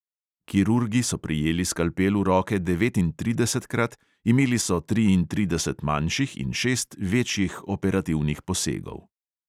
Kirurgi so prijeli skalpel v roke devetintridesetkrat, imeli so triintrideset manjših in šest večjih operativnih posegov.